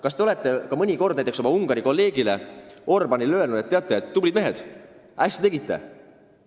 Kas te olete mõnikord oma Ungari kolleegile Orbánile öelnud: "Tublid mehed, hästi tegite!